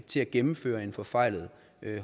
til at gennemføre en forfejlet